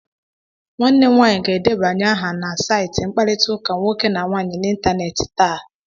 Nwanne m nwanyị ga-edébányé aha na saịtị mkparịta ụka nwoke na nwaanyi n'ịntanetị taa